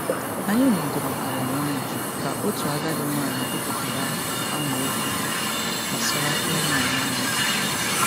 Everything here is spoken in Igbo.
Anyị nọdụrụ ala nwayọọ ka otu agadi nwaanyị gụpụtara amaokwu gbasara ịhụnanya na ntachi obi.